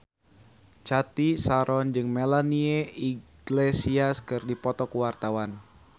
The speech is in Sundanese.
Cathy Sharon jeung Melanie Iglesias keur dipoto ku wartawan